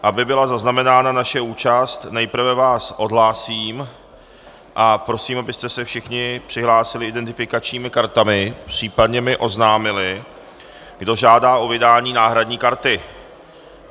Aby byla zaznamenána naše účast, nejprve vás odhlásím a prosím, abyste se všichni přihlásili identifikačními kartami, případně mi oznámili, kdo žádá o vydání náhradní karty.